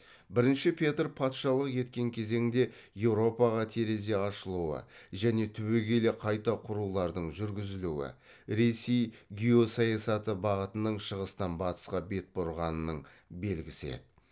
бірінші петр патшалық еткен кезеңде еуропаға терезе ашылуы және түбегейлі қайта құрулардың жүргізілуі ресей геосаясаты бағытының шығыстан батысқа бет бұрғанының белгісі еді